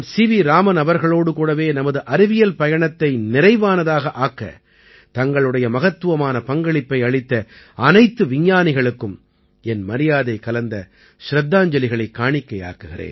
ராமன் அவர்களோடு கூடவே நமது அறிவியல் பயணத்தை நிறைவானதாக ஆக்கத் தங்களுடைய மகத்துவமான பங்களிப்பை அளித்த அனைத்து விஞ்ஞானிகளுக்கும் என் மரியாதை கலந்த சிரத்தாஞ்சலிகளைக் காணிக்கையாக்குகிறேன்